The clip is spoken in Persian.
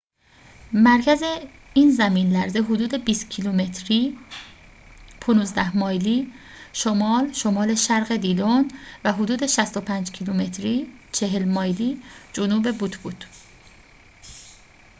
مرکز این زمین‌لرزه حدود 20 کیلومتری 15 مایلی شمال-شمال شرق دیلون و حدود 65 کیلومتری 40 مایلی جنوب بوت بود